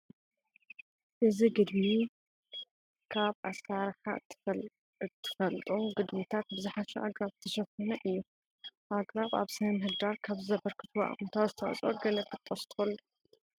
እዚ ግድሚ ካብ ብኣብዝሓ እንፈልጡም ግድምታት ብዝሓሸ ኣግራብ ዝተሸፈኑ እዩ፡፡ ኣግራብ ኣብ ስነ ምህዳር ካብ ዘበርክትዎ ኣወንታዊ ኣስተዋፅኦ ገለ ክትጠቕሱ ትኽእሉ ዶ?